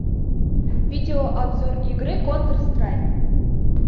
видеообзор игры контр страйк